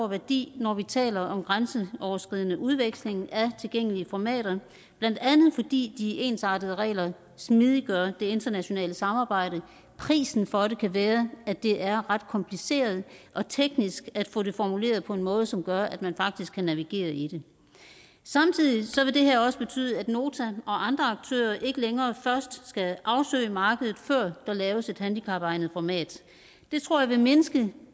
værdi når vi taler om grænseoverskridende udveksling af tilgængelige formater blandt andet fordi de ensartede regler smidiggør det internationale samarbejde prisen for det kan være at det er ret kompliceret og teknisk at få det formuleret på en måde som gør at man faktisk kan navigere i det samtidig vil det her også betyde at nota og andre aktører ikke længere først skal afsøge markedet før der laves et handicapegnet format det tror jeg vil mindske